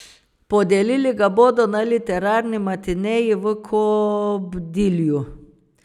Podelili ga bodo na literarni matineji v Kobdilju.